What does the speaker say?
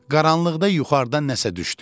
Qaranlıqda yuxarıdan nəsə düşdü.